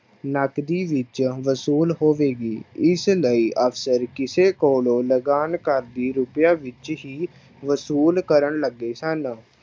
ਨਕਦੀ ਵਿੱਚ ਵਸੂਲ ਹੋਵੇਗੀ ਇਸ ਲਈ ਅਕਸਰ ਕਿਸੇ ਕੋਲੋਂ ਲਗਾਨ ਕਰ ਦੀ ਰੁਪਇਆਂ ਵਿੱਚ ਹੀ ਵਸੂਲ ਕਰਨ ਲੱਗੇ ਸਨ।